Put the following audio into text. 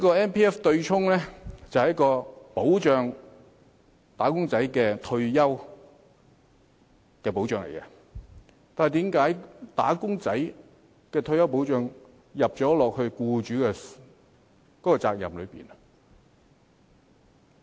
MPF 的對沖安排旨在為"打工仔"提供退休保障，但為何"打工仔"的退休保障要由僱主負責？